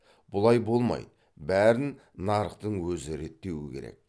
бұлай болмайды бәрін нарықтың өзі реттеуі керек